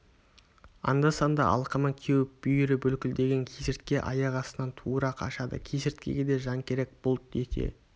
анда-санда алқымы кеуіп бүйірі бүлкілдеген кесіртке аяқ астынан тура қашады кесірткеге де жан керек бұлт ете